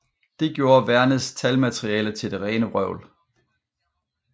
Det gjorde Vernes talmateriale til det rene vrøvl